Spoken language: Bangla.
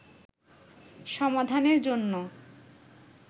সমাধানের জন্য